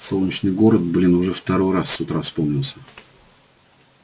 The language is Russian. солнечный город блин уже второй раз с утра вспомнился